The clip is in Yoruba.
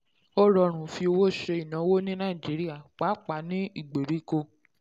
ó rọrùn fi owó ṣe ìnáwó ní nàìjíríà pàápàá ní ìgbèríko.